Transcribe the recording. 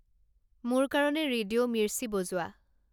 মোৰ কাৰণে ৰেডিঅ' মিৰ্চি বজোৱা